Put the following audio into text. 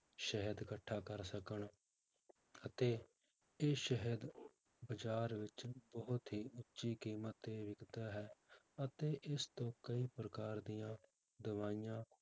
ਸ਼ਹਿਦ ਇਕੱਠਾ ਕਰ ਸਕਣ ਅਤੇ ਇਹ ਸ਼ਹਿਦ ਬਾਜ਼ਾਰ ਵਿੱਚ ਬਹੁਤ ਹੀ ਉੱਚੀ ਕੀਮਤ ਤੇ ਵਿੱਕਦਾ ਹੈ ਅਤੇ ਇਸ ਤੋਨ ਕਈ ਪ੍ਰਕਾਰ ਦੀਆਂ ਦਵਾਈਆਂ